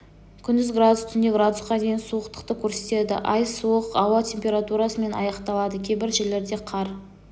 күндіз градус түнде градусқа дейін суықтықты көрсетеді ай суық ауа температурасымен аяқталады кейбір жерлерде қар